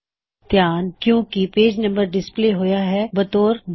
ਧਿਆਨ ਦਿੳ ਕੀਪੇਜ ਨੰਬਰ ਡਿਸਪਲੇ ਹੋਇਆ ਹੈ ਬਤੌਰ 2